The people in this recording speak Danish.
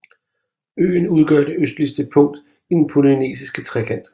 Øen udgør det østligste punkt i den Polynesiske Trekant